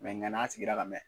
nka n'a sigira ka mɛn